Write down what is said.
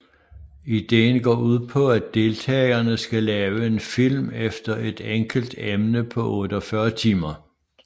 Ideen går ud på at deltagerne skal lave en film efter et enkelt emne på 48 timer